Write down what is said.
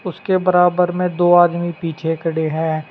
उसके बराबर में दो आदमी पीछे खड़े हैं।